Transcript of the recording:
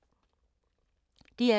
DR2